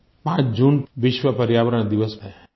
5 जून विश्व पर्यावरण दिवस है